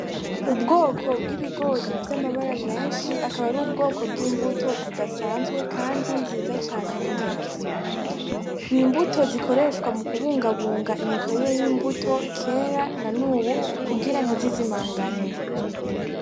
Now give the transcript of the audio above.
Ubwoko bw'ibigori vy'amabara menshi akaba ar'ubwoko bw'imbuto zidasanzwe kandi nziza cane ku maso . Imbuto zikoreshwa mu kubungabunga imikorere y'imbuto kera nanubu kugira ntizizimangane.